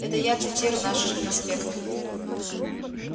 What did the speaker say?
это я цитирую наши же проспекты